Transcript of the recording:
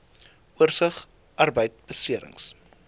oorsig arbeidbeserings